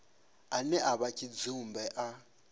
ane a vha tshidzumbe a